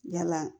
Yala